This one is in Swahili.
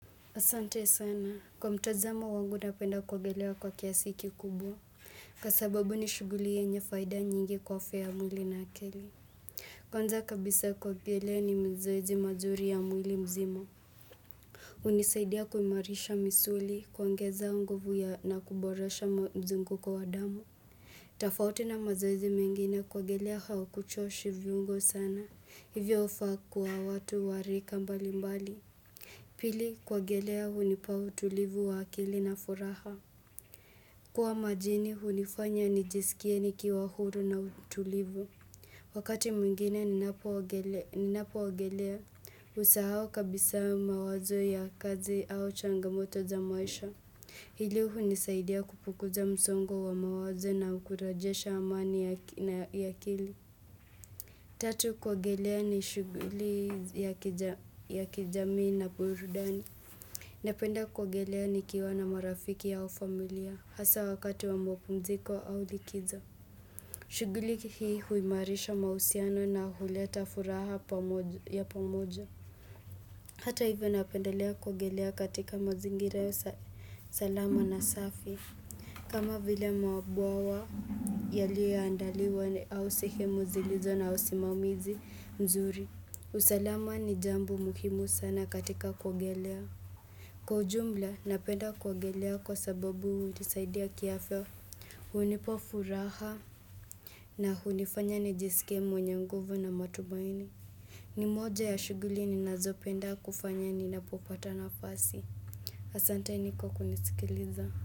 Asante sana, kwa mtazamo wangu napenda kuogelea kwa kiasi kikubwa Kwa sababu ni shughuli yenye faida nyingi kwa afya ya mwili na akili Kwanza kabisa kuogelea ni mazoezi mazuri ya mwili mzima hunisaidia kuimarisha misuli, kuongeza nguvu ya na kuboresha mzunguko wa damu tofauti na mazoezi mengine kuogelea hakuchoshi viungo sana, hivyo hufaa kuwa watu wa rika mbali mbali Pili kuogelea hunipa utulivu wa akili na furaha. Kuwa majini hunifanya nijisikie nikiwa huru na utulivu. Wakati mwingine ninapoogelea husahao kabisa mawazo ya kazi au changamoto za maisha. Hili hunisaidia kupunguza msongo wa mawazo na kurejesha amani ya akili. Tatu kuogelea ni shughuli ya kijamii na burudani. Napenda kuogelea nikiwa na marafiki au familia hasa wakati wa mapumziko au likizo. Shughuli hii huimarisha mahusiano na huleta furaha ya pamoja. Hata hivyo napendelea kuogelea katika mazingira salama na safi. Kama vile mabwawa yaliyo andaliwa au sehemu zilizo na usimamizi mzuri. Usalama ni jambo muhimu sana katika kuogelea. Kwa ujumla, napenda kuogelea kwa sababu hunisaidia kiafya hunipa furaha na hunifanya nijisikie mwenye nguvu na matumaini ni moja ya shughuli ninazopenda kufanya ninapopata nafasi Asanteni kwa kunisikiliza.